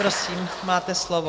Prosím, máte slovo.